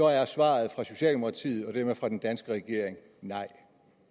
er svaret fra socialdemokratiet og dermed fra den danske regering nej